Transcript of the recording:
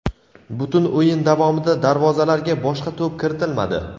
Butun o‘yin davomida darvozalarga boshqa to‘p kiritilmadi.